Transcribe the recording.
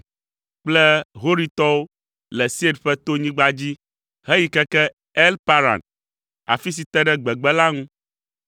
kple Horitɔwo le Seir ƒe tonyigba dzi heyi keke El Paran, afi si te ɖe gbegbe la ŋu.